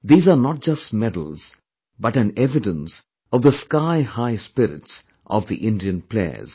These are not just medals but an evidence of the sky high spirits of the Indian players